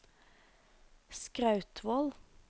Skrautvål